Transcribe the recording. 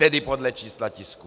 Tedy podle čísla tisků.